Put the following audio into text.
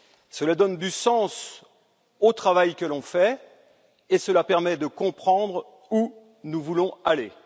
Cela donne du sens au travail que l'on fait, et cela permet de comprendre où nous voulons aller.